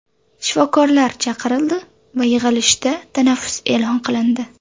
Shifokorlar chaqirildi va yig‘ilishda tanaffus e’lon qilindi.